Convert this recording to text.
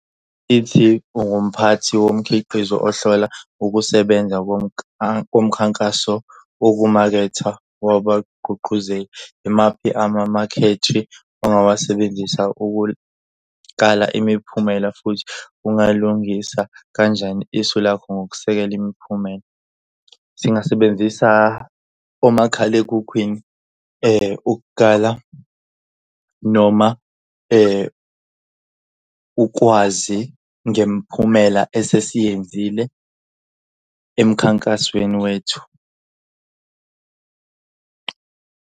Ithi ungumphathi womkhiqizo ohlola ukusebenza komkhankaso wokumaketha wabagqugquzela, imaphi amamakhethi ongawasebenzisa ukuqala imiphumela futhi ungalungisa kanjani isu lakho ngokusekela imiphumela? Singasebenzisa omakhalekhukhwini ukukala noma ukwazi ngemiphumela esesiyenzile emkhankasweni wethu.